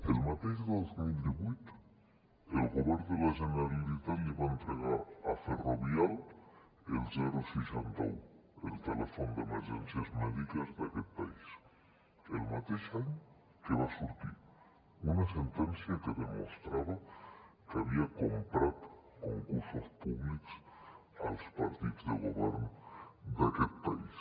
el mateix dos mil divuit el govern de la generalitat li va entregar a ferrovial el seixanta un el telèfon d’emergències mèdiques d’aquest país el mateix any que va sortir una sentència que demostrava que havia comprat concursos públics als partits de govern d’aquest país